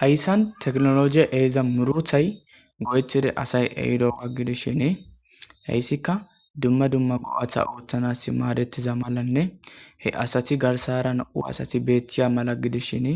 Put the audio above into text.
heyssan teknologiye eeza muruthay go7ethide asay ehido waggidishinee heyssika dumma dumma go7atha ooththanas maadettiza malanne he asati garsara na7u asati beeththiya mala gidishin